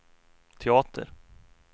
teater